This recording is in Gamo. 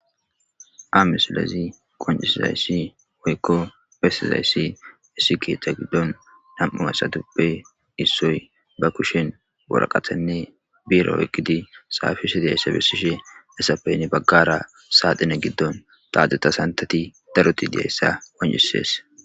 Hamesilezi qoncisizayssi woykko besizayssi issi keeththa giddon nam7u esaduppe issoy ba kushen boraqathanne biira woyqqidi saafise deyayssa besishe esapeyni baggara saaxine giddon taajuta santati daruti diayssa qoncisees.